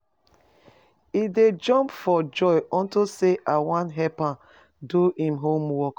He dey jump for joy unto say I wan help am do im homework.